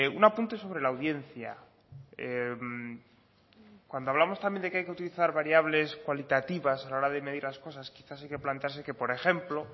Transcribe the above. un apunte sobre la audiencia cuando hablamos también de que hay que utilizar variables cualitativas a la hora de medir las cosas quizás hay que plantearse que por ejemplo